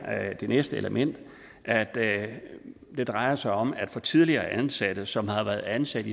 at det næste element drejer sig om at man til tidligere ansatte som har været ansat